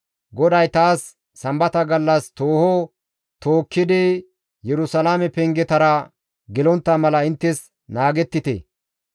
GODAY taas, «Sambata gallas tooho tookkidi Yerusalaame pengetara gelontta mala inttes naagettite!